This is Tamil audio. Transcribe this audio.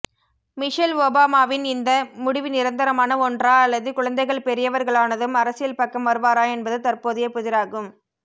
மிஷல் ஒபாமாவின் இந்த முடிவு நிரந்தரமான ஒன்றா அல்லது குழந்தைகள் பெரியவர்களானதும் அரசியல் பக்கம் வருவாரா என்பது தற்போதைய புதிராகும்